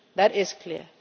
That is clear.